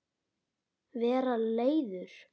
Vera leiður?